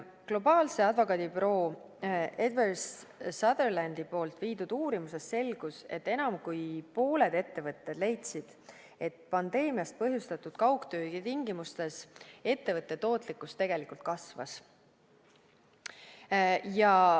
Globaalse advokaadibüroo Eversheds Sutherlandi poolt läbi viidud uurimusest selgus, et enam kui pooled ettevõtted leidsid, et pandeemiast põhjustatud kaugtöö tingimustes ettevõtte tootlikkus tegelikult kasvas.